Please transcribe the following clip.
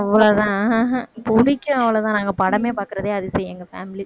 அவ்வளவுதான் பிடிக்கும் அவ்வளவுதான் நாங்க படமே பார்க்கிறதே அதிசயம் எங்க family